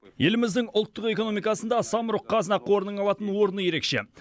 еліміздің ұлттық экономикасында самұрық қазына қорының алатын орны ерекше